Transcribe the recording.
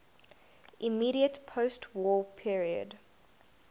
immediate postwar period